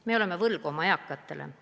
Me oleme oma eakatele võlgu.